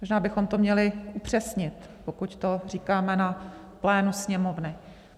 Možná bychom to měli upřesnit, pokud to říkáme na plénu Sněmovny.